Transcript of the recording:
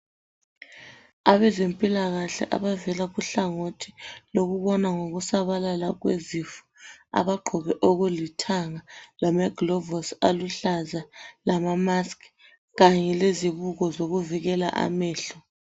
Abezempilakahle abavela kuhlangothi lokubona ngokusabalala kwezifo. Abagqoke okulithanga, lamagilovisi aluhlaza, lamasks. Kanye lezibuko, zokuvikela amehlo.